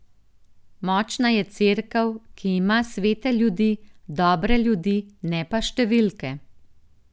Močna je cerkev, ki ima svete ljudi, dobre ljudi, ne pa številke.